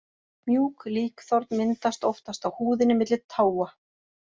Mjúk líkþorn myndast oftast á húðinni milli táa.